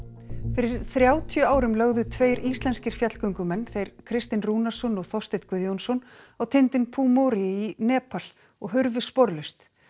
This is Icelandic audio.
fyrir þrjátíu árum lögðu tveir íslenskir fjallgöngumenn þeir Kristinn Rúnarsson og Þorsteinn Guðjónsson á tindinn í Nepal og hurfu sporlaust